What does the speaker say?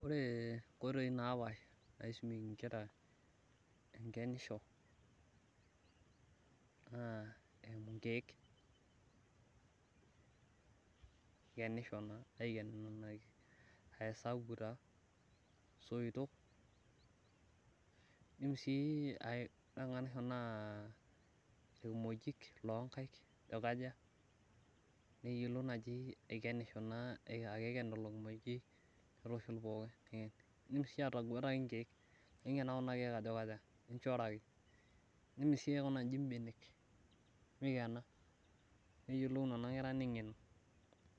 ore inkoitoi naapasha naisumieki inkera enkenisho naa inkeek ikeni aaa esabu taa, isoitok, ikimojik loo inkeik ajo kaja, neyiolo naaji aikenisho naa aikena lelo kimojik, nitushul pooki idim sii atanguataki inkeek, idim sii aikunaki iji ibenek neyiolou nena kera osabu oleng.